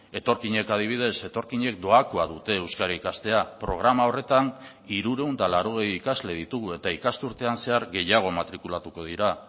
etorkinek adibidez etorkinek doakoa dute euskara ikastea programa horretan hirurehun eta laurogei ikasle ditugu eta ikasturtean zehar gehiago matrikulatuko dira